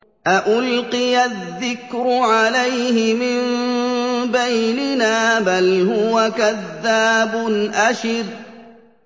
أَأُلْقِيَ الذِّكْرُ عَلَيْهِ مِن بَيْنِنَا بَلْ هُوَ كَذَّابٌ أَشِرٌ